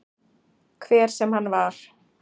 Hver sem hann var.